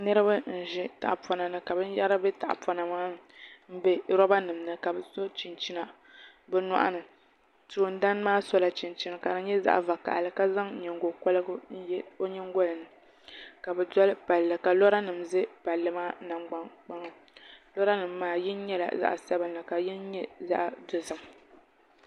niriba n-ʒi tahipɔnani ka binyɛra be tahipɔna maa ni m-be robanima ni ka bɛ so chinchina bɛ nyɔɣu ni toondana maa sola chinchini ka di nye zaɣ'vakahili ka zaŋ nyingokɔrigu n-ye nyingoli ni ka bɛ doli palli ka loranima za palli maa nangban'kpaŋa loranimma maa yini nyɛla zaɣ'sabinli ka yini nye zaɣ'dozim